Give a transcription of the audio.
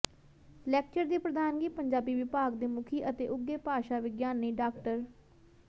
lecture ਦੀ ਪ੍ਰਧਾਨਗੀ ਪੰਜਾਬੀ ਵਿਭਾਗ ਦੇ ਮੁਖੀ ਅਤੇ ਉੱਘੇ ਭਾਸ਼ਾ ਵਿਗਿਆਨੀ ਡਾ